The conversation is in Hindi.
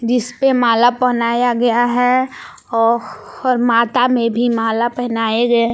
जिस पे माला पहनाया गया है औ और माता में भी माला पहनाए गए--